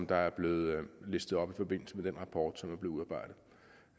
der er blevet listet op i forbindelse med den rapport som